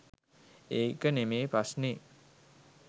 ඒක නෙමේ ප්‍රශ්නෙ